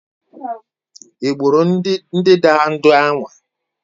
Ị gburu ndanda ndị ahụ?